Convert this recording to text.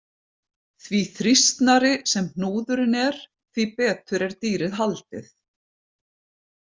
Því þrýstnari sem hnúðurinn er, því betur er dýrið haldið.